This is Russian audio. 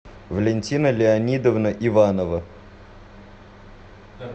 валентина леонидовна иванова